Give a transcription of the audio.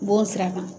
Bon sira kan